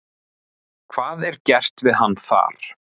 Hvað er gert við hann þar?